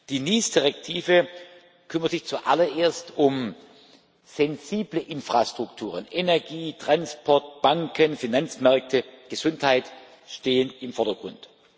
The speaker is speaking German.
Die NIS Richtlinie kümmert sich zuallererst um sensible Infrastrukturen Energie, Transport, Banken, Finanzmärkte, Gesundheit stehen im Vordergrund.